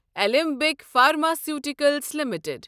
علمبٕکۍ pharmaceuticals limited